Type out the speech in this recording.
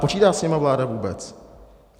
Počítá s nimi vláda vůbec?